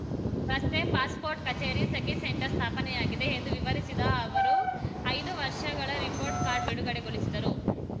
ರಸ್ತೆ ಪಾಸ್‌ಪೋರ್ಟ್ ಕಚೇರಿ ಸಖಿ ಸೆಂಟರ್ ಸ್ಥಾಪನೆಯಾಗಿದೆ ಎಂದು ವಿವರಿಸಿದ ಅವರು ಐದು ವರ್ಷಗಳ ರಿಪೋರ್ಟ್ ಕಾರ್ಡ್ ಬಿಡುಗಡೆಗೊಳಿಸಿದರು